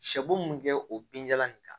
Sɛbo mun kɛ o binjalan in kan